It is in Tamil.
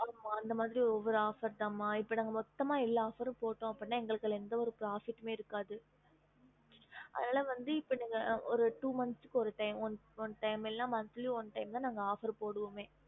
அந்த மாரி ஒவ்வொரு offer தம இப்போ நாங்க வந்து மொத்தமா offer போடமுன எங்களுக்கு எந்தவொரு profit இருக்காது es mam correct mam two month oness time one month oness timeoffer தா ம